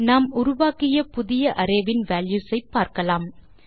நாம் உருவாக்கிய புதிய அரே இன் வால்யூஸ் ஐ பார்க்கலாம்